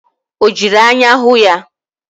Ọ jiri anya hụ ya?